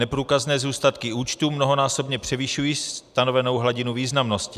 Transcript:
Neprůkazné zůstatky účtů mnohonásobně převyšují stanovenou hladinu významnosti.